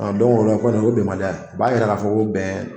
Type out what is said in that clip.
o la kɔni o bɛnbaliya ye o b'a yira ka fɔ ko bɛn